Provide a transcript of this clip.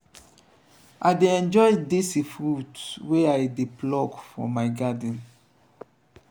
i dey enjoy dese fruits wey i dey pluck from my garden.